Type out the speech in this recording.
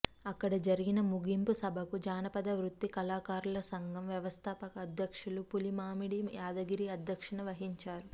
అక్కడ జరిగిన ముగింపు సభకు జానపద వృత్తి కళాకారుల సంఘం వ్యవస్థాపక అధ్యక్షులు పులిమామిడి యాదగిరి అధ్యక్షత వహించారు